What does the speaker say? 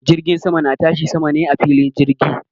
Jirgin sama na tashi sama ne a filin jirgi